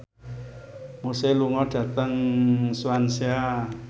Muse lunga dhateng Swansea